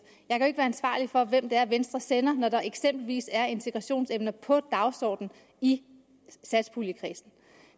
jeg kan ansvarlig for hvem det er venstre sender når der eksempelvis er integrationsemner på dagsordenen i satspuljekredsen